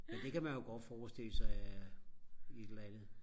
men det kan man jo godt forstille af sig et eller andet